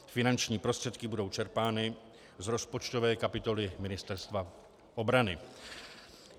Finanční prostředky budou čerpány z rozpočtové kapitoly Ministerstva obrany.